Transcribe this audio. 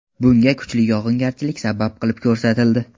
Bunga kuchli yog‘ingarchilik sabab qilib ko‘rsatildi.